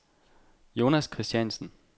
Jonas Kristiansen